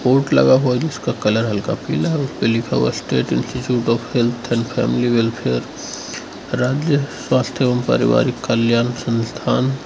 लगा हुआ जिसका कलर हल्का पीला है उसपे लिखा हुआ status institute of health and family welfare राज्य स्वास्थ्य एवं पारिवारिक कल्याण संस्थान।